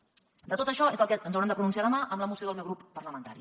sobre tot això és del que ens haurem de pronunciar demà en la moció del meu grup parlamentari